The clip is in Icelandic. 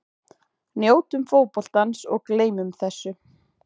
Njótum fótboltans og gleymum þessu.